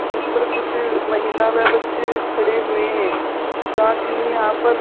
जिस पर कुछ महिला व बच्चे खड़े हुए हैं साथ ही यहां पर--